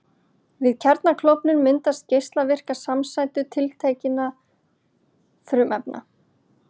Við kjarnaklofnun myndast geislavirkar samsætur tiltekinna frumefna.